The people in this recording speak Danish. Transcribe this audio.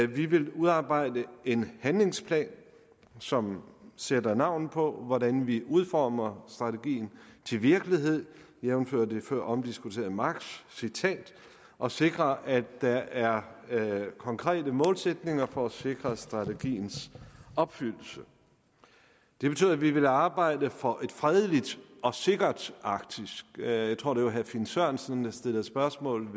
vi vil udarbejde en handlingsplan som sætter navn på hvordan vi udformer strategien til virkelighed jævnfør det føromdiskuterede marxcitat og sikrer at der er konkrete målsætninger for at sikre strategiens opfyldelse det betyder at vi vil arbejde for et fredeligt og sikkert arktis jeg tror det var herre finn sørensen der stillede spørgsmål